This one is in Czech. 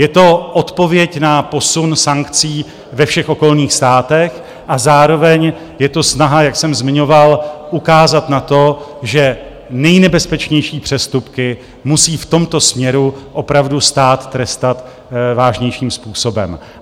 Je to odpověď na posun sankcí ve všech okolních státech a zároveň je to snaha, jak jsem zmiňoval, ukázat na to, že nejnebezpečnější přestupky musí v tomto směru opravdu stát trestat vážnějším způsobem.